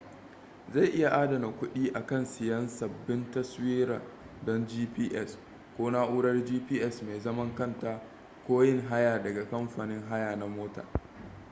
zai iya adana kuɗi akan siyan sabbin taswira don gps ko na'urar gps mai zaman kanta ko yin haya daga kamfanin haya na mota